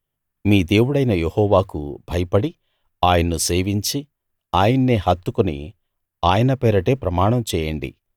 మీ దేవుడైన యెహోవాకు భయపడి ఆయన్ను సేవించి ఆయన్నే హత్తుకుని ఆయన పేరటే ప్రమాణం చేయండి